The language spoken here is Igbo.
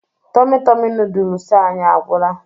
Tomi Tomi noodolus anyị agwụla